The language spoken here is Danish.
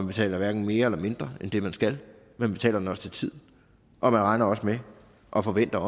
betaler mere eller mindre end det man skal man betaler den også til tiden og man regner med og forventer